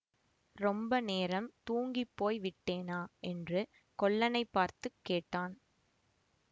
ரொம்ப நேரம் தூங்கிப்போய் விட்டேனா என்று கொல்லனைப் பார்த்து கேட்டான்